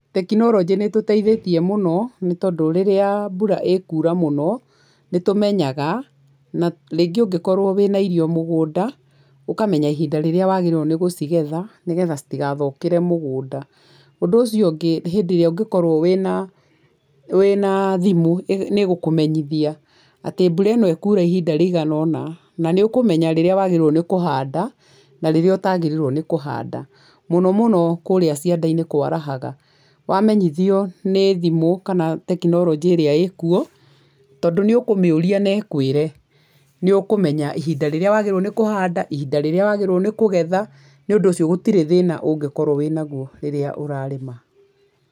Tekinoronjĩ nĩ ĩtũteithĩtie mũno, nĩ tondũ rĩrĩa mbura ĩkuura mũno nĩ tũmenyaga, na rĩngĩ ũngĩkorwo wĩna irio mũgũnda, ũkanemya ihinda rĩrĩa wagĩrĩirwo nĩ gũcigetha nĩgetha citigathũkĩre mũgũnda. Ũndũ ũcio ũngĩ nĩ hĩndĩ ĩrĩa ũngĩkorwo wĩna thimũ nĩ ĩgũkũmenyithia atĩ mbura ĩno ĩkuura ihinda rĩigana ũna na nĩ ũkũmenya rĩrĩa wagĩrĩirwo nĩ kũhanda na rĩrĩa ũtagĩrĩirwo nĩ kũhanda, mũno mũno kũrĩa cianda-inĩ kwarahaga, wamenyithio nĩ thimũ kana tekinoronjĩ ĩrĩa ĩkuo, tondũ nĩ ũkũmĩũria na ĩkwĩre, nĩ ũkũmenya ihinda rĩrĩa wagĩrĩirũo nĩ kũhanda, ihinda rĩrĩa wagĩrĩirwo nĩ kũgetha, nĩ ũndũ ũcio gũtirĩ thĩna ũngĩkorwo wĩnaguo rĩrĩa ũrarĩma.